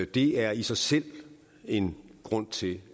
det er i sig selv en grund til